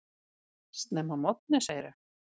Snemma að morgni segirðu.